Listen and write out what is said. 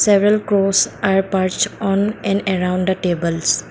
several goes are purse on an around the tables.